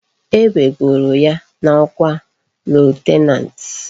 E wegoro ya na okwa lieutenant